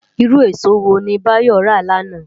Irú ésó wóni Bayo rá làná?